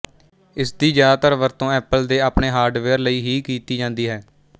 ਇਸਦੀ ਜ਼ਿਆਦਾਤਰ ਵਰਤੋਂ ਐਪਲ ਦੇ ਆਪਣੇ ਹਾਰਡਵੇਅਰ ਲਈ ਹਈ ਕੀਤੀ ਜਾਂਦੀ ਹੈ